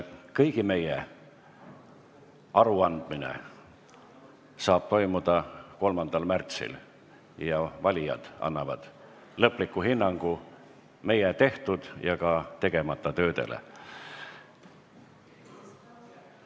Kõigi meie aruandmine toimub 3. märtsil, kui valijad annavad lõpliku hinnangu meie tehtud ja ka tegemata töödele.